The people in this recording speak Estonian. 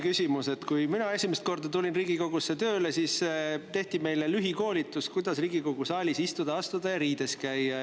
Kui mina tulin esimest korda Riigikogusse tööle, siis tehti meile lühikoolitus, kuidas Riigikogu saalis istuda, astuda ja riides käia.